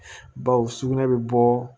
Baw sugunɛ bɛ bɔ